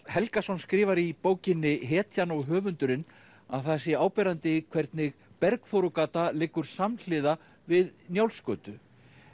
Helgason skrifar í bókinni hetjan og höfundurinn að það sé áberandi hvernig Bergþórugata liggur samhliða við Njálsgötu